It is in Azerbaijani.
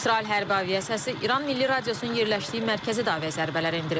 İsrail hərbi aviasiyası İran Milli Radiosunun yerləşdiyi mərkəzi dava zərbələri endirib.